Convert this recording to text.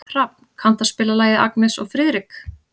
Hrafn, kanntu að spila lagið „Agnes og Friðrik“?